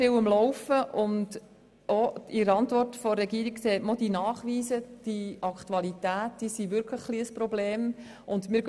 In der Regierungsantwort sieht man auch den Nachweis, dass aktuell wirklich ein Problem besteht.